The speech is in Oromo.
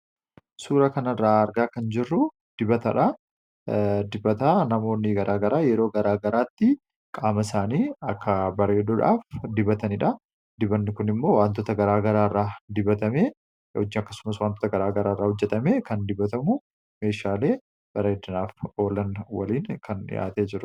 suura kana irraa argaa kan jirru dibataa namoonni garaagaraa yeroo garaa garaatti qaama isaanii akka bareedudhaaf dibataniidha dibbanni kun immoo waantoota garaa garaa irraa dibatame i akkasumas waantoota garaa garaairaa hojjetame kan dibbatamu meeshaalee bareedinaaf oolan waliin kan dhiyaatee jiru